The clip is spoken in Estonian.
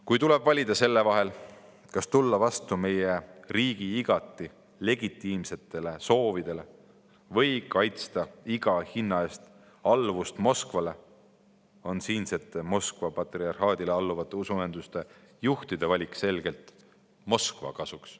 Kui tuleb valida selle vahel, kas tulla vastu meie riigi igati legitiimsetele soovidele või kaitsta iga hinna eest alluvust Moskvale, siis on siinsete Moskva patriarhaadile alluvate usuühenduste juhtide valik selgelt Moskva kasuks.